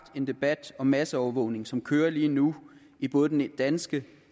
den debat om masseovervågning som kører lige nu i både den danske